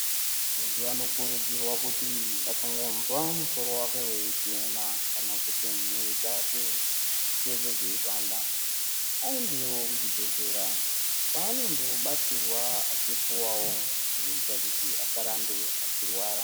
Muntu anokurudzirwa kuti akangonzwa musoro wake weitema kana kuti mwiiri dzake dzeipanda aendewo kuchibhehlera kwaandobatsirwa achipuwawo zvinoita kuti asarambe achirwara.